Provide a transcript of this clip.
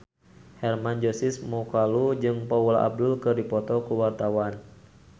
Hermann Josis Mokalu jeung Paula Abdul keur dipoto ku wartawan